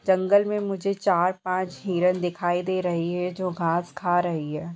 जंगल में मुझे चार पांच हिरन दिखाई दे रही है जो घांस खा रही है।